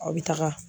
Aw bɛ taga